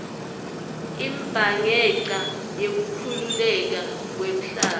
imbhanqeca yekukhukhuleka kwemhlaba